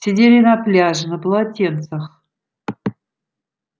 сидели на пляже на полотенцах